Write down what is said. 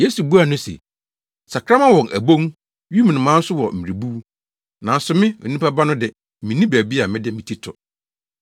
Yesu buaa no se, “Sakraman wɔ wɔn abon, wim nnomaa nso wɔ mmerebuw, nanso me, Onipa Ba no de, minni baabi a mede me ti to!”